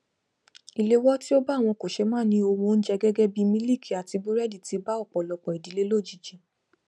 ìléwó tí ó bá àwọn kòṣeémání ohun oúnjẹ gẹgẹbí mílíkì àti búrẹdì ti bá ọpọlọpọ ìdílé lójijì